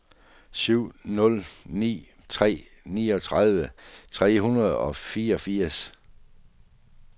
syv nul ni tre niogtredive tre hundrede og fireogfirs